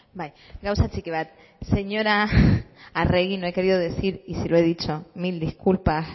bai gauza txiki bat señora arregi no he querido decir y si lo he dicho mil disculpas